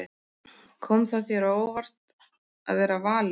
Kom það þér á óvart að vera valinn?